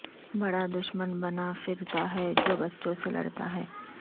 بڑا دشمن بنا پھرتا ہے جو بچوں سے لڑتا ہے